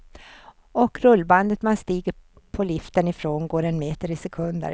Och rullbandet man stiger på liften ifrån går en meter i sekunden.